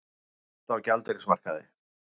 Mikil velta á gjaldeyrismarkaði